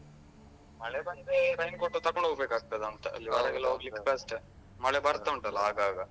ಮಳೆ ಬಂದ್ರೆ raincoat ತಕೊಂಡ್ ಹೋಗ್ಬೇಕಾಗ್ತದಂತ ಅಲ್ಲಿ ಹೊರಗೆಲ್ಲ ಹೋಗ್ಲಿಕ್ಕೆ ಕಷ್ಟ ಮಳೆ ಬರ್ತಾ ಉಂಟಲ್ಲ ಆಗಾಗ.